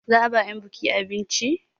Za a ba 'yan buki abinci.